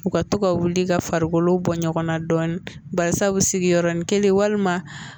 U ka to ka wuli ka farikolo bɔ ɲɔgɔn na dɔɔnin barisabu sigi yɔrɔnin kelen walima